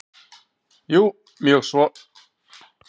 Jú mjög svo.